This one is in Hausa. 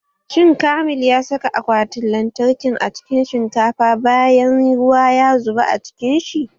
Shin kamil ya saka akwatin lantarkin a cikin shinkafa bayan ruwa ya zuba a cikin shi?